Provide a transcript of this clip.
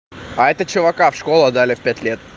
а это чувака в школу отдали в пять лет